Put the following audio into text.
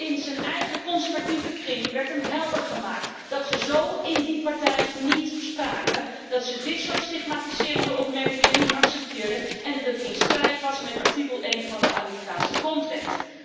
In zijn eigen conservatieve kring werd hem helder gemaakt dat ze zo in die partij niet spraken, dat ze dit soort stigmatiserende opmerkingen niet accepteerden en dat het in strijd was met artikel 1 van de Amerikaanse grondwet.